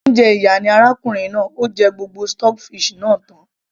olóúnjẹ ìyà ni arákùnrin náà, ó jẹ gbogbo stockfish náà tan